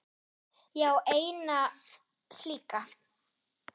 Ég á eina slíka.